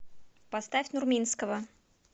поставь нурминского